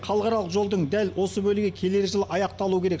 халықаралық жолдың дәл осы бөлігі келер жылы аяқталуы керек